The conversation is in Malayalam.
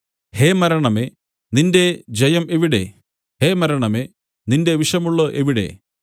ഹേ മരണമേ നിന്റെ ജയം എവിടെ ഹേ മരണമേ നിന്റെ വിഷമുള്ള് എവിടെ